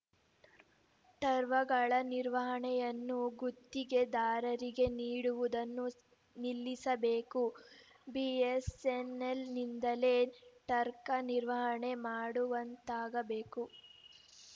ಟರ್ವ ಗಳ ನಿರ್ವಹಣೆಯನ್ನು ಗುತ್ತಿಗೆದಾರರಿಗೆ ನೀಡುವುದನ್ನು ನಿಲ್ಲಿಸಬೇಕು ಬಿಎಸ್ಸೆನ್ನೆಲ್‌ನಿಂದಲೇ ಟರ್ಕ ನಿರ್ವಹಣೆ ಮಾಡುವಂತಾಗಬೇಕು